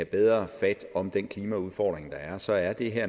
bedre fat om den klimaudfordring der er så er det her